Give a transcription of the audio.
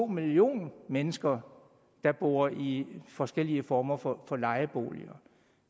millioner mennesker der bor i forskellige former for lejeboliger